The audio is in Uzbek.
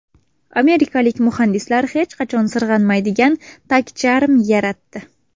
Amerikalik muhandislar hech qachon sirg‘anmaydigan tagcharm yaratdi.